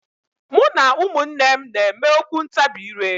Mụ na ụmụnne m na-eme okwu ntabi ire.